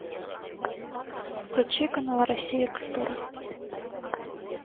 включи канал россия культура